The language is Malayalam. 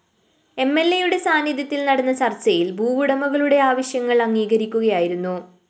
എംഎല്‍എയുടെ സാന്നിധ്യത്തില്‍ നടന്ന ചര്‍ച്ചയില്‍ ഭൂവുടമകളുടെ ആവശ്യങ്ങള്‍ അംഗീകരിക്കുകയായിരുന്നു